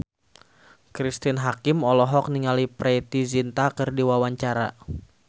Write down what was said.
Cristine Hakim olohok ningali Preity Zinta keur diwawancara